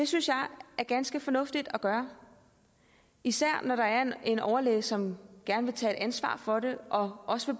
synes jeg er ganske fornuftigt at gøre især når der er en overlæge som gerne vil tage ansvar for det og også